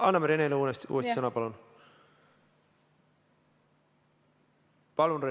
Anname Renele uuesti sõna, palun!